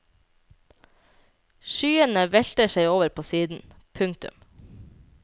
Skyene velter seg over på siden. punktum